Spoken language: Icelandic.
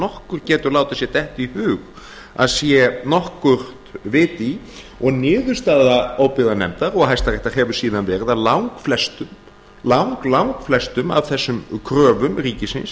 nokkur getur látið sér detta í hug að sé nokkuð vit í því og niðurstaða óbyggðanefndar og hæstaréttar hefur síðan verið að langflestum af þessum kröfum ríkisins